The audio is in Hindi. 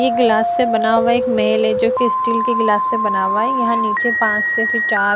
एक ग्लास से बना हुआ एक महेल है जोकि स्टील के गिलास से बना हुआ है। यहां नीचे पांच से फिर चार --